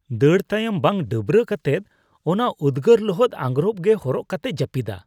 ᱫᱟᱹᱲ ᱛᱟᱭᱚᱢ ᱵᱟᱝ ᱰᱟᱹᱵᱨᱟᱹ ᱠᱟᱛᱮᱫ ᱚᱱᱟ ᱩᱫᱜᱟᱹᱨ ᱞᱚᱦᱚᱫ ᱟᱜᱨᱚᱯ ᱜᱮ ᱦᱚᱨᱚᱜ ᱠᱟᱛᱮᱭ ᱡᱟᱹᱯᱤᱫᱼᱟ ᱾